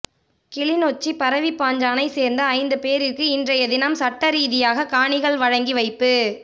கிளிநொச்சி பரவிப்பாஞ்சானைச் சேர்ந்த ஐந்து பேரிற்கு இன்றையதினம் சட்டரீதியாக காணிகள் வழங்கி வைப்பு